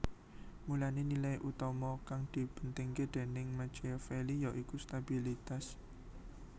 Mulané nilai utama kang dipentingké déning Machiavelli yaiku stabilitas